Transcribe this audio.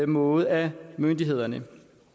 måde af myndighederne